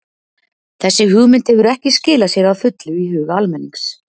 Þessi hugmynd hefur ekki skilað sér að fullu í huga almennings.